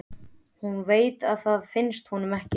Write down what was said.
Hún veit að það finnst honum ekki.